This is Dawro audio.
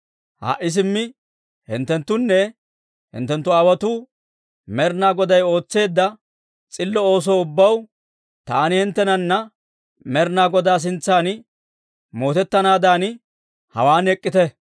Ha"i simmi hinttenttunne hinttenttu aawaatoo Med'inaa Goday ootseedda s'illo oosoo ubbaw taani hinttenana Med'inaa Godaa sintsan mootettanaadan, hawaan ek'k'ite.